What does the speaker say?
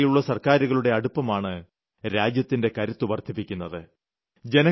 ജനങ്ങളുമായുള്ള സർക്കാരുകളുടെ അടുപ്പമാണ് രാജ്യത്തിന്റെ കരുത്ത് വർദ്ധിപ്പിക്കുന്നത്